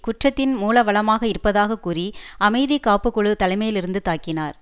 குற்றத்தின் மூலவளமாக இருப்பதாக கூறி அமைதி காப்புக்குழு தலைமையிலிருந்து தாக்கினார்